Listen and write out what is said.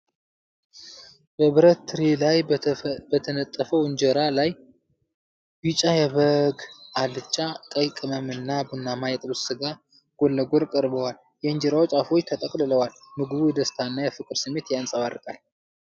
በብር ትሪ ላይ በተነጠፈ እንጀራ ላይ፣ ቢጫ የበግ አልጫ፣ ቀይ ቅመም እና ቡናማ የጥብስ ሥጋ ጎን ለጎን ቀርበዋል። የእንጀራው ጫፎች ተጠቅልለዋል፤ ምግቡ የደስታና የፍቅር ስሜት ያንጸባርቃል።